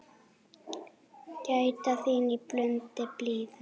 Gæta þín í blundi blíðum.